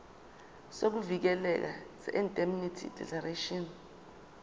sokuvikeleka seindemnity declaration